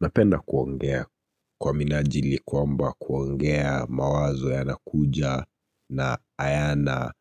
Napenda kuongea kwa minajili kwamba kuongea mawazo yanakuja na hayana